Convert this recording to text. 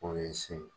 O ye se ye